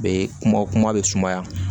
Be kuma kuma bɛ sumaya